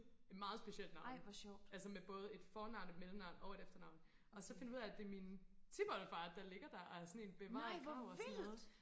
meget specielt navn altså med både et fornavn et mellemnavn og et efternavn og så finder vi ud af at det er min tip oldefar der ligger der og er sådan en bevaret grav og sådan noget